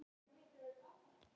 Af mold.